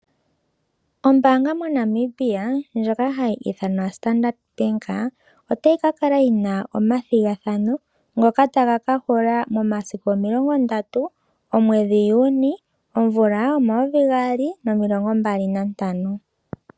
Ombaanga moNamibia ndjoka hayi ithanwa Standard Bank otayi ka kala yina omathigathano ngoka taga ka hula momasiku omilongo ndatu, omwedhi Juni, omvula omayovi gaali nomilongo mbali nantano.